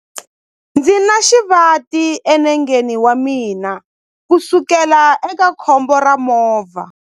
Ndzi na xivati enengeni wa mina kusukela eka khombo ra movha.